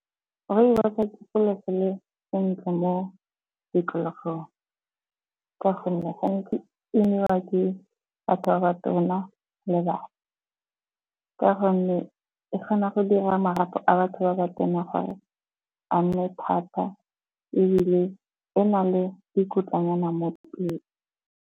Rooibos-o ke selo se le sentle mo tikologong ka gonne gantsi e newa ke batho ba ba tona le bana. Ka gonne e kgona go dira marapo a batho ba ba tona gore a nne thata ebile e na le dikotlanyana mo .